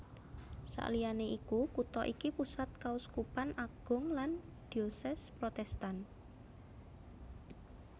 Saliyané iku kutha iki pusat Kauskupan Agung lan Diocese Protestan